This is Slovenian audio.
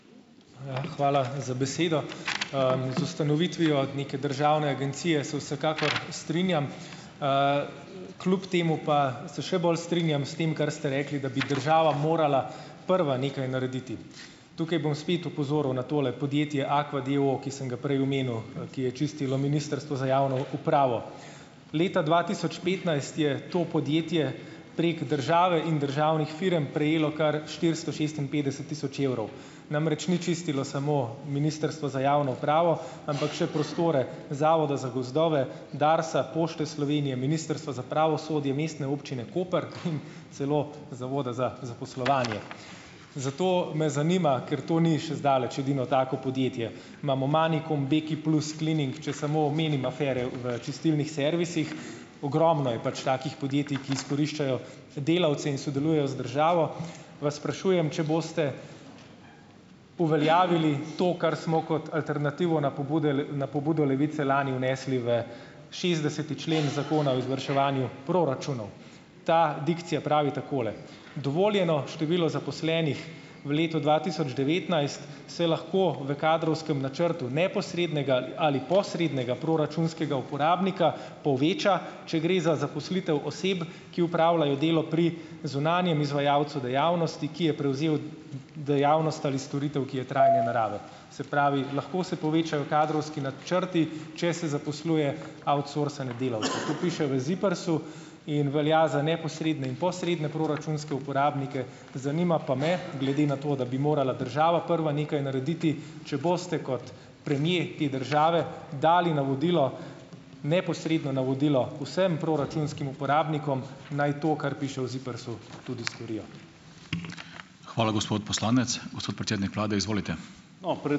Hvala za besedo. Z ustanovitvijo neke državne agencije se Vsekakor strinjam, kljub temu pa se še bolj strinjam s tem, kar ste rekli, da bi država morala prva nekaj narediti. Tukaj bom spet opozoril na tole podjetje Aqua d. o. o., ki sem ga prej omenil, ki je čistilo Ministrstvo za javno upravo. Leta dva tisoč petnajst je to podjetje prek države in državnih firm prejelo kar štiristo šestinpetdeset tisoč evrov, namreč ni čistilo samo Ministrstvo za javno upravo, ampak še prostore Zavoda za gozdove, Darsa, Pošte Slovenije, Ministrstva za pravosodje, Mestne občine Koper in celo Zavoda za zaposlovanje. Zato me zanima, ker to ni še zdaleč edino tako podjetje - imamo Manikum, Beki plus, Cleaning, če samo omenim afere v čistilnih servisih. Ogromno je pač takih podjetij, ki izkoriščajo delavce in sodelujejo z državo - vas sprašujem, če boste uveljavili to, kar smo kot alternativo na pobude na pobudo Levice lani vnesli v šestdeseti člen Zakona o izvrševanju proračunov. Ta dikcija pravi takole: "Dovoljeno število zaposlenih v letu dva tisoč devetnajst se lahko v kadrovskem načrtu neposrednega ali posrednega proračunskega uporabnika poveča, če gre za zaposlitev oseb, ki upravljajo delo pri zunanjem izvajalcu dejavnosti, ki je prevzel dejavnost ali storitev, ki je trajne narave." Se pravi ... lahko se povečajo kadrovski načrti, če se zaposluje outsourcane delavce. Tako piše v ZIPRS-u in velja za neposredne in posredne proračunske uporabnike. Zanima pa me, glede na to, da bi morala država prva nekaj narediti, če boste kot premier te države dali navodilo, neposredno navodilo vsem proračunskim uporabnikom, naj to, kar piše v ZIPRS-u, tudi storijo.